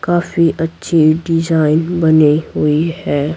काफी अच्छी डिजाइन बनी हुई है।